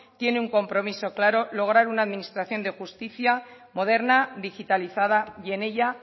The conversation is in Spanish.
tiene un compromiso claro lograr una administración de justicia moderna digitalizada y en ella